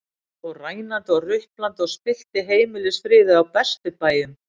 Hann fór rænandi og ruplandi og spillti heimilisfriði á bestu bæjum.